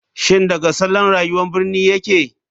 Shin daga salon rayuwar birni yake?